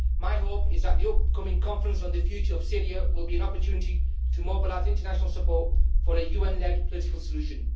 My hope is that the upcoming conference on the future of Syria will be an opportunity to mobilise international support for a UN led political solution.